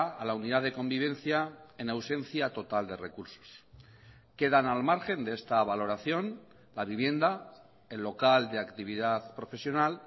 a la unidad de convivencia en ausencia total de recursos quedan al margen de esta valoración la vivienda el local de actividad profesional